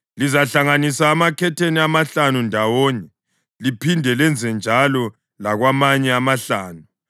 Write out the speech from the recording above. Lizahlanganisa amakhetheni amahlanu ndawonye, liphinde lenzenjalo lakwamanye amahlanu.